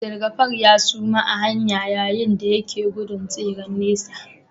Abdulgafar ya suma a hanya yayin da yake gudun tseren nesa